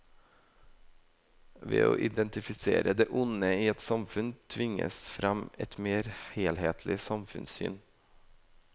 Ved å identifisere det onde i et samfunn tvinges frem et mer helhetlig samfunnssyn.